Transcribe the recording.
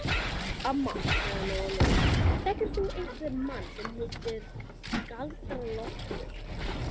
Amma, sagði Lóa Lóa, þekkir þú einhvern mann sem heitir Galdra-Loftur?